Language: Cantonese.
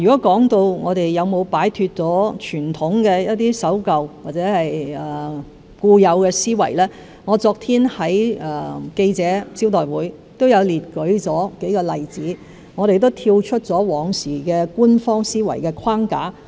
關於我們有否擺脫傳統上一些守舊或固有的思維，我昨天在記者招待會上已列舉數個例子，說明我們已跳出過往官方思維的框架。